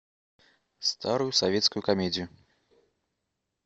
старую советскую комедию